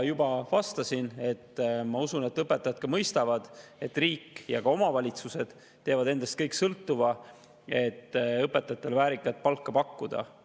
Juba vastasin, et ma usun, et õpetajad ka mõistavad, et riik ja omavalitsused teevad kõik endast sõltuva, et õpetajatele väärikat palka pakkuda.